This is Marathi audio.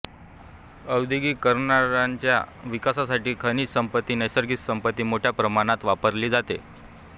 औद्योगिकरणांच्या विकासासाठी खनिज संपत्ती नैसर्गिक संपत्ती मोठ्या प्रमाणात वापरली जाते